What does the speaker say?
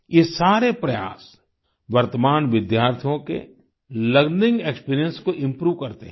ये सारे प्रयास वर्तमान विद्यार्थियों के लर्निंग एक्सपीरियंस को इम्प्रूव करते हैं